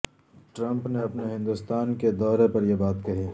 Trump نے اپنے ہندوستان کے دورے پر یہ بات کہی